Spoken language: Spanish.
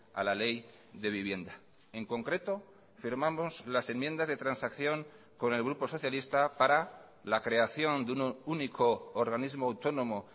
a la ley de vivienda en concreto firmamos las enmiendas de transacción con el grupo socialista para la creación de un único organismo autónomo